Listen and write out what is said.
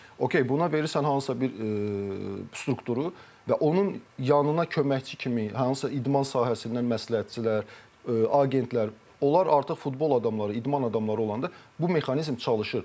Okey, buna verirsən hansısa bir strukturu və onun yanına köməkçi kimi hansısa idman sahəsindən məsləhətçilər, agentlər, onlar artıq futbol adamları, idman adamları olanda, bu mexanizm çalışır.